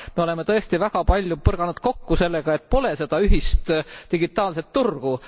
Me oleme tõesti väga palju põrganud kokku sellega, et pole seda ühist digitaalset turgu.